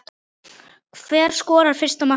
Hver skorar fyrsta markið?